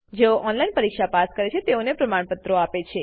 જેઓ ઓનલાઈન પરીક્ષા પાસ કરે છે તેઓને પ્રમાણપત્રો આપે છે